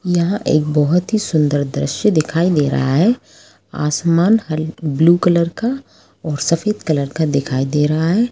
यहाँ एक बहुत ही सुंदर दृश्य दिखाई दे रहा है आसमान हाल ब्लू कलर का और सफेद कलर का दिखाई दे रहा हैं।